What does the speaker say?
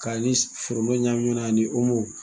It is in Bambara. Ka foroton ɲagami ɲɔgɔn na ani .